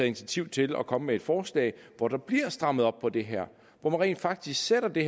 initiativ til at komme med et forslag hvor der bliver strammet op på det her hvor man rent faktisk sætter det